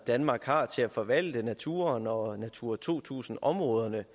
danmark har til at forvalte naturen og natura to tusind områderne